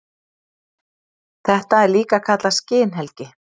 Þetta er líka kallað skinhelgi.